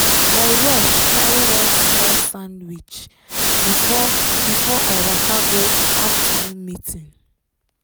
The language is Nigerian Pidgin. i rush carry one small sandwich before before i waka go afternoon meeting.